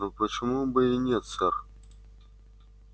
но почему бы и нет сэр